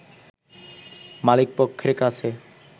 মালিকপক্ষের কাছে